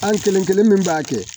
An kelen kelen min b'a kɛ